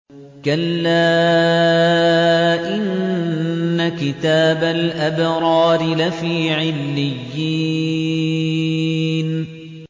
كَلَّا إِنَّ كِتَابَ الْأَبْرَارِ لَفِي عِلِّيِّينَ